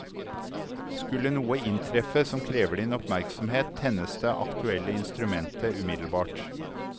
Skulle noe inntreffe som krever din oppmerksomhet, tennes det aktuelle instrumentet umiddelbart.